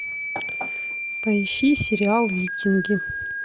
поищи сериал викинги